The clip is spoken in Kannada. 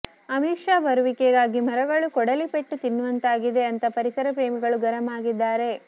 ಅಮಿತ್ ಶಾ ಬರುವಿಕೆಗಾಗಿ ಮರಗಳು ಕೊಡಲಿ ಪೆಟ್ಟು ತಿನ್ನುವಂತಾಗಿದೆ ಅಂತ ಪರಿಸರ ಪ್ರೇಮಿಗಳು ಗರಂ ಆಗಿದ್ದಾರೆ